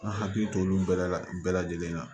An hakili t'olu bɛɛ la bɛɛ lajɛlen na